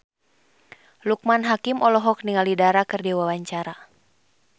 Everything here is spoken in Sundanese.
Loekman Hakim olohok ningali Dara keur diwawancara